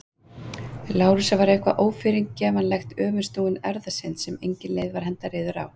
Lárusar var eitthvað ófyrirgefanlegt- öfugsnúin erfðasynd sem engin leið var að henda reiður á.